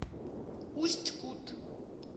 усть кут